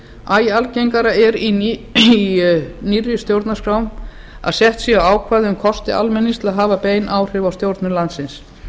æ algengara er í nýrri stjórnarskrám að sett séu ákvæði um kosti almennings til að hafa bein áhrif á stjórnun landsins